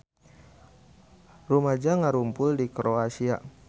Rumaja ngarumpul di Kroasia